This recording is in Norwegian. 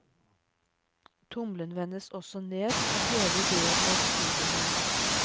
Tommelen vendes også ned for hele idéen med et studiefond.